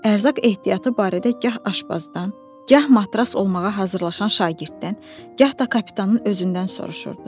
Ərzaq ehtiyatı barədə gah aşbazdan, gah matros olmağa hazırlaşan şagirddən, gah da kapitanın özündən soruşurdu.